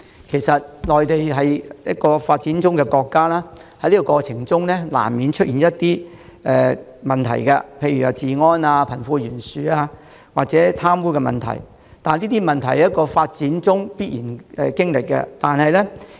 其實內地是一個發展中國家，在發展過程中，難免出現一些問題，例如治安、貧富懸殊及貪污問題，這是發展過程中必然經歷的情況。